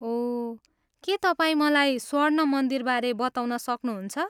ओह, के तपाईँ मलाई स्वर्ण मन्दिरबारे बताउन सक्नुहुन्छ?